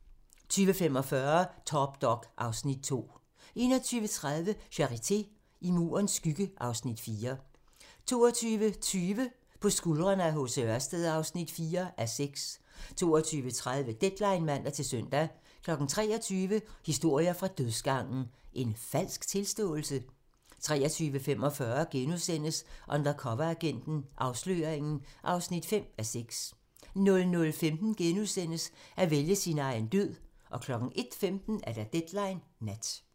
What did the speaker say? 20:45: Top Dog (Afs. 2) 21:30: Charité - I Murens skygge (Afs. 4) 22:20: På skuldrene af H. C. Ørsted (4:6) 22:30: Deadline (man-søn) 23:00: Historier fra dødsgangen - En falsk tilståelse? 23:45: Undercoveragenten - Afsløringen (5:6)* 00:15: At vælge sin egen død * 01:15: Deadline Nat